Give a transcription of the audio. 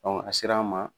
a sera an ma